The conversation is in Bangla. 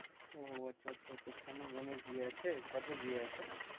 ও আচ্ছা আচ্ছা তোর সামনে বোনের বিয়ে আছে কবে বিয়ে আছে?